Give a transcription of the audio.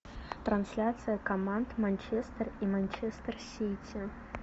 трансляция команд манчестер и манчестер сити